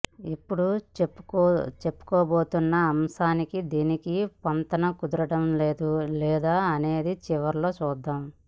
ఇప్పుడు చెప్పుకోబోతున్న అంశానికీ దానికీ పొంతన కుదురుతుందో లేదో అనేది చివర్లో చూద్దాం